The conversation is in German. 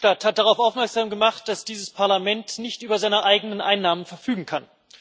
Herr Verhofstadt hat darauf aufmerksam gemacht, dass dieses Parlament nicht über seine eigenen Einnahmen verfügen kann.